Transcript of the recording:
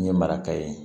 N ye maraka ye